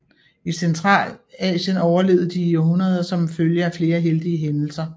I Centralasien overlevede de i århundreder som en følge af flere heldige hændelser